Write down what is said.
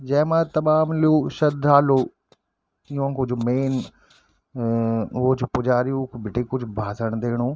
जैमा तमाम लोग श्रद्धालु युन्कू जू मेंन अ वो च पुजारी उख बीटे कुछ भाषण दिनु।